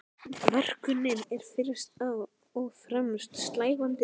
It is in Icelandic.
Verkunin er fyrst og fremst slævandi.